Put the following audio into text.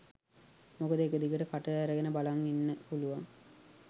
මොකද එක දිගට කට ඇරගෙන බලන් ඉන්න පුලුවන්